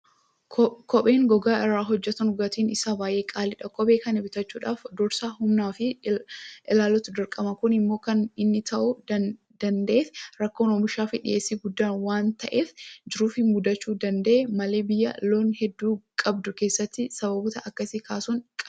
Kopheen gogaa irraa hojjetanu gatiin isaa baay'ee qaala'aadha Kophee kana bitachuudhaaf dursa humna ofii ilaaluutu dirqama. Kun immoo kan inni ta'uu danda'eef rakkoon oomishaafi dhiyeessii guddaan waanta jiruuf mudachuu danda'e malee biyya loon hedduu qabdu keessatti sababoota akkasii kaasuun qaanidha.